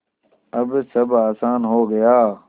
अब सब आसान हो गया